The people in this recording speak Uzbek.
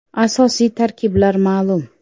Asosiy tarkiblar ma’lum.